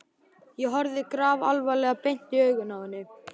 Ég horfði grafalvarleg beint í augun á henni.